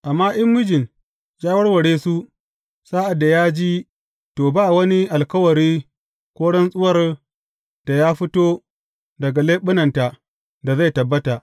Amma in mijin ya warware su sa’ad da ya ji, to, ba wani alkawari ko rantsuwar da ya fito daga leɓunanta da zai tabbata.